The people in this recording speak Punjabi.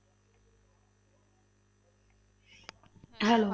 Hello